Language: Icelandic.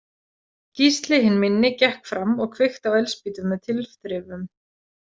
Gísli hinn minni gekk fram og kveikti á eldspýtu með tilþrifum.